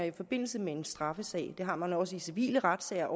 i forbindelse med en straffesag det har man også i civile retssager